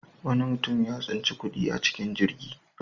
Wani mutum ya tsinci kuɗi a cikin jirgi.